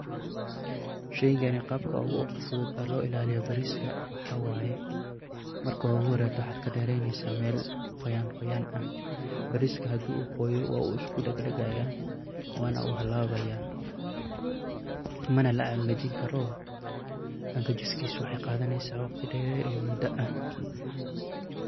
Shaygani qaabka ugu fudud oo loo ilaaliyo bariiska waxaa waay, marka ugu horayto waxaad ka dheeraynaysaa meel quyan quyan ah. Bariiska haduu quuyo waa uu usku dhegdhegayaa wana uu halaabaya. Mana la engejin karoo, ngejinkiisa waxay qaadanaysaa wakhti dheer in mudo ah.